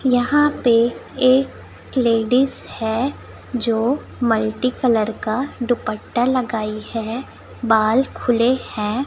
यहां पे एक लेडिस है जो मल्टी कलर का दुपट्टा लगाई है बाल खुले हैं।